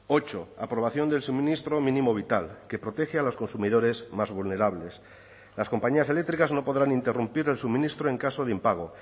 ocho aprobación del suministro mínimo vital que protege a los consumidores más vulnerables las compañías eléctricas no podrán interrumpir el suministro en caso de impago